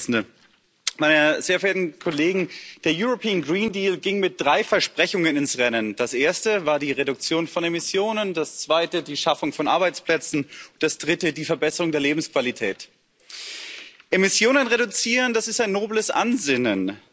Frau Präsidentin, meine sehr verehrten Kollegen! Der ging mit drei Versprechen ins Rennen Das erste war die Reduktion von Emissionen, das zweite die Schaffung von Arbeitsplätzen und das dritte die Verbesserung der Lebensqualität. Emissionen reduzieren, das ist ein nobles Ansinnen.